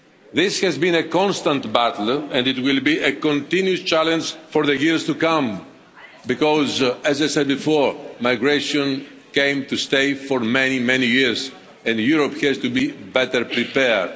This has been a constant battle, and it will be a continuing challenge for the years to come because, as I said before, migration came to stay for many, many years and Europe has to be better prepared.